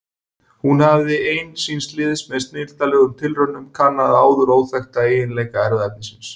Hún hafði ein síns liðs með snilldarlegum tilraunum kannað áður óþekkta eiginleika erfðaefnisins.